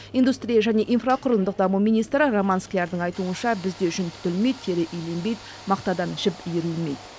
индустрия және инфрақұрылымдық даму министрі роман склярдың айтуынша бізде жүн түтілмейді тері иленбейді мақтадан жіп иірілмейді